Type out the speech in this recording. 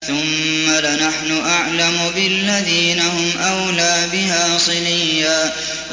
ثُمَّ لَنَحْنُ أَعْلَمُ بِالَّذِينَ هُمْ أَوْلَىٰ بِهَا صِلِيًّا